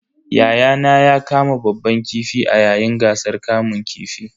Yayana ya kama babban kifi a yayin gasar kamun kifin.